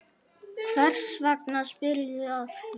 Hvers vegna spyrðu að því?